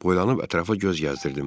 Boylanıb ətrafa göz gəzdirdim.